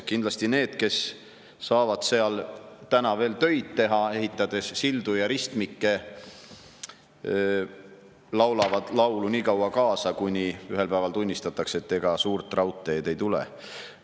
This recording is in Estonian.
Kindlasti need, kes saavad seal täna veel tööd teha, ehitades sildu ja ristmikke, laulavad laulu nii kaua kaasa, kuni ühel päeval tunnistatakse, et ega suurt raudteed ei tule.